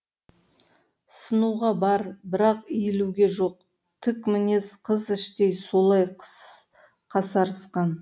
сынуға бар бірақ иілуге жоқ тік мінез қыз іштей солай қасарысқан